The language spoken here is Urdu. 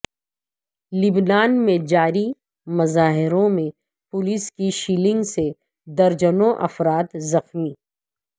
لبنان میں جاری مظاہروں میں پولیس کی شیلنگ سے درجنوں افراد زخمی